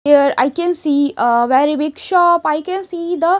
here I can see a very big shop I can see the--